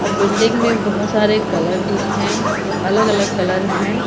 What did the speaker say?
और बिल्डिंग में बोहोत सारे कलर भी हैं और अलग अलग कलर हैं.